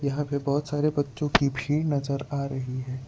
यहां पे बहोत सारे बच्चों की भीड़ नजर आ रही है।